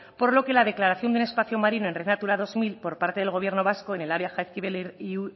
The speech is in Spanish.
por lo que la declaración de un espacio marino en red natura dos mil por parte del gobierno vasco en el área jaizkibel y